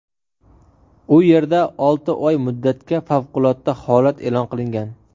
U yerda olti oy muddatga favqulodda holat e’lon qilingan.